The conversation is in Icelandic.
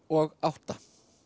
og átta